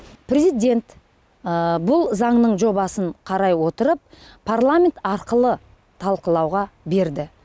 президент бұл заңның жобасын қарай отырып парламент арқылы талқылауға берді